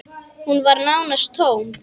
Hún var nánast tóm.